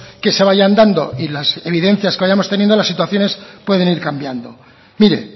que se vayan dando y las evidencias que vayamos teniendo las situaciones pueden ir cambiando mire